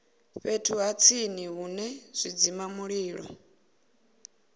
fhethu ha tsini hune zwidzimamulilo